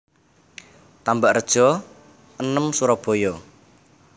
Tambakrejo enem Surabaya